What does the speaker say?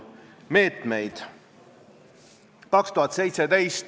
Ka väikeettevõte, kelle äriplaan on rajatud seadusrikkumistele, ei ole õige asi.